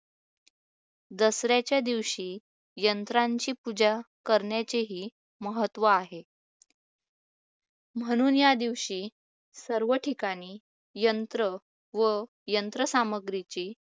दसऱ्याच्या दिवशी यंत्राचे पूजा करण्याचेही महत्त्व आहे. म्हणून या दिवशी सर्व ठिकाणी यंत्र व यंत्रसामग्रीचे